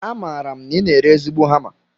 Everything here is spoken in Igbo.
Amaara m na I na-ere ezigbo hama